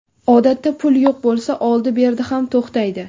Odatda, pul yo‘q bo‘lsa, oldi-berdi ham to‘xtaydi.